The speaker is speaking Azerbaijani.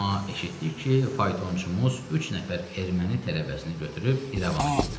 Amma eşitdik ki, faytonçumuz üç nəfər erməni tələbəsini götürüb İrəvana gedirdi.